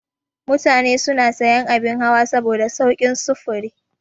Mutane suna sayan abin hawa saboda saukin sufuri.